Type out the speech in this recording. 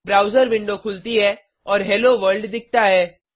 browser window खुलती है और हेलो वर्ल्ड दिखता है